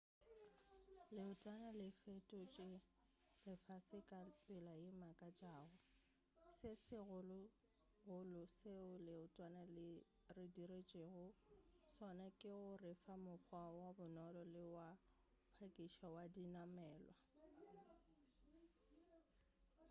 leotwana le fetotše lefase ka tsela ye e makatšago se segologolo seo leotwana le re diretšego sona ke go refa mokgwa wo bonolo le wa go phakiša wa dinamelwa